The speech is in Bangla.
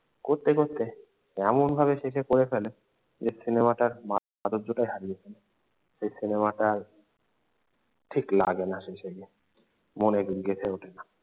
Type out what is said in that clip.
করতে করতে এমনভাবে শেষে করে ফেলে যে সিনেমাটার মাধুর্যটাই হারিয়ে ফেলে। এই সিনেমাটা আর ঠিক লাগে না শেষে গিয়ে মনে গেঁথে ওঠে না।